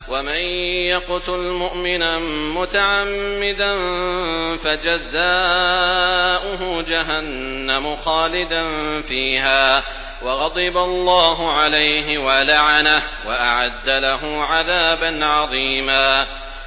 وَمَن يَقْتُلْ مُؤْمِنًا مُّتَعَمِّدًا فَجَزَاؤُهُ جَهَنَّمُ خَالِدًا فِيهَا وَغَضِبَ اللَّهُ عَلَيْهِ وَلَعَنَهُ وَأَعَدَّ لَهُ عَذَابًا عَظِيمًا